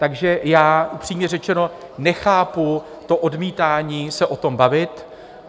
Takže já upřímně řečeno nechápu to odmítání se o tom bavit.